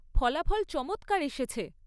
ফলাফল চমৎকার এসেছে।